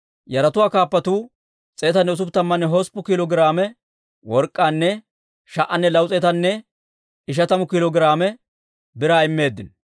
Yaratuwaa kaappatuu 168 kiilo giraame work'k'aanne 1,250 kiilo giraame biraa immeeddino.